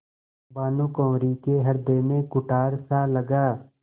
भानुकुँवरि के हृदय में कुठारसा लगा